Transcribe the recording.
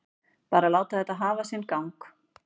Bara láta þetta hafa sinn gang.